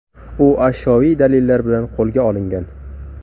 U ashyoviy dalillar bilan qo‘lga olingan.